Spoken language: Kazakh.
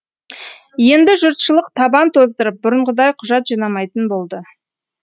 енді жұртшылық табан тоздырып бұрынғыдай құжат жинамайтын болды